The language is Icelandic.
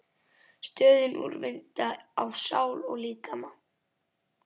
stöðinni, úrvinda á sál og líkama.